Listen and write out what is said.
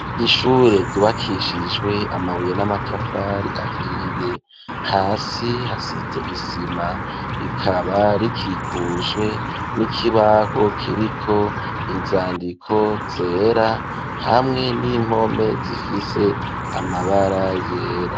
ishure gibakishijwe amabuye n'amatafari ahiye hasi hasize isima rikaba rikikujwe n'ikibaho kiriko inzandiko zera hamwe n'impome zifise amabara yera.